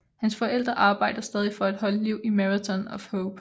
Hans forældre arbejder stadig for at holde liv i Marathon of Hope